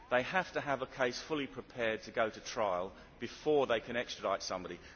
They have to have a case fully prepared to go to trial before they can extradite somebody.